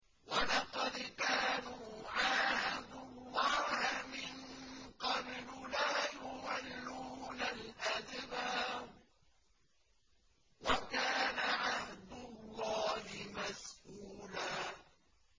وَلَقَدْ كَانُوا عَاهَدُوا اللَّهَ مِن قَبْلُ لَا يُوَلُّونَ الْأَدْبَارَ ۚ وَكَانَ عَهْدُ اللَّهِ مَسْئُولًا